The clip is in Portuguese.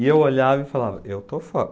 E eu olhava e falava, eu estou fora.